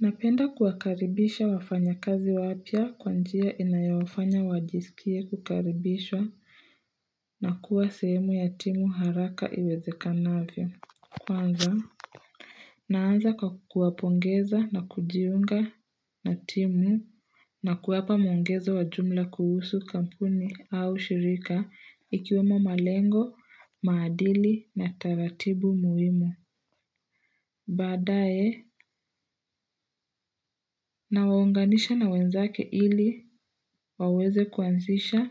Napenda kuwakaribisha wafanya kazi wapya kwa njia inayowafanya wajisikie kukaribishwa na kuwa sehemu ya timu haraka iweze kanavyo. Kwanza. Naanza kwa kuwapongeza na kujiunga na timu na kuwapa mwongeza wajumla kuhusu kampuni au shirika ikiwemo malengo, maadili na taratibu muhimu. Badae na waunganisha na wenzake ili waweze kuanzisha,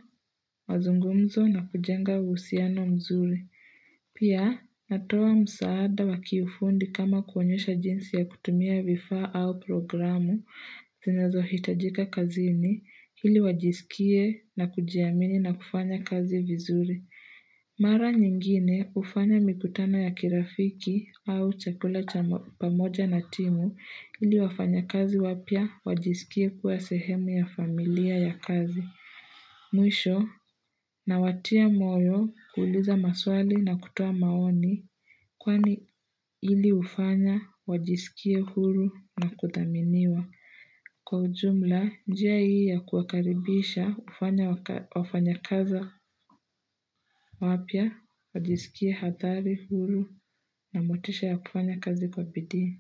mazungumzo na kujenga uhusiano mzuri. Pia natoa msaada wakifundi kama kuonyesha jinsi ya kutumia vifaa au programu zinazo hitajika kazini ili wajisikie na kujiamini na kufanya kazi vizuri. Mara nyingine ufanya mikutano ya kirafiki au chakula cha pamoja na timu ili wafanya kazi wapia wajisikie kuwa sehemu ya familia ya kazi. Mwisho na watia moyo kuuliza maswali na kutua maoni kwani ili ufanya wajisikie huru na kutaminiwa. Kwa ujumla, njia hii ya kuwakaribisha wafanyakazi wapya, wajisikie hatari, huru na motisha ya kufanya kazi kwa bidii.